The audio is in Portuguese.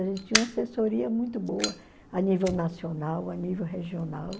A gente tinha uma assessoria muito boa a nível nacional, a nível regional.